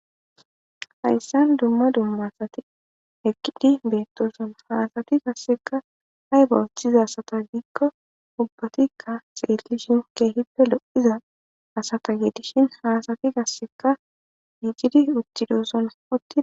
hayssan dumma dumma asati eqqidi beettoson haasati gasseka hay ba woththiza asata diikko ubbatikka xeelli shinke hippe lo7iza asata geedishin haasati gasseka yiicidi uccidoosson otti